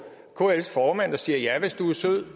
kls formand og siger ja hvis du er sød